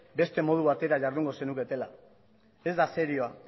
beste modu batera jardungo zenuketela ez da serioa